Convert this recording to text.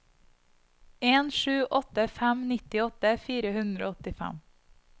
en sju åtte fem nittiåtte fire hundre og åttifem